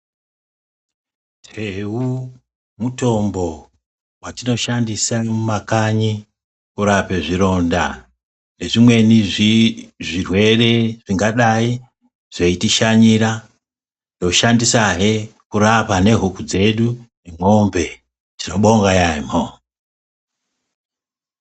Teu mutombo watinoshandisa mumakanyi kurape zvironda nezvimweni zvirwere zvingadai zveitishanyira. Tinoshandisahe kurape nehuku dzedu nemombe, tinobonga yaamho.